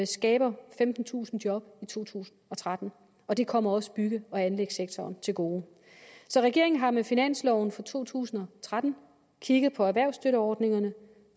skaber femtentusind job i to tusind og tretten og det kommer også bygge og anlægssektoren til gode så regeringen har med finansloven for to tusind og tretten kigget på erhvervsstøtteordningerne